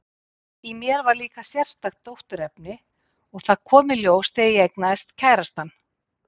Í mér var líka sérstakt dótturefni, og það kom í ljós þegar ég eignaðist kærastann.